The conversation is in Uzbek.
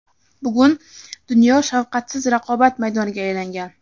bugun dunyo shafqatsiz raqobat maydoniga aylangan.